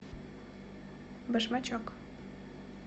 башмачок